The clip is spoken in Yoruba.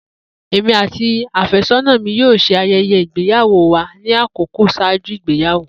Emi ati afesona mi yoo ṣe ayẹyẹ igbeyawo wa ni akọkọ ṣaaju igbeyawo.